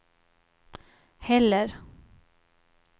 heller